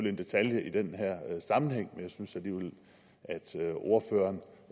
en detalje i den her sammenhæng men jeg synes alligevel at ordføreren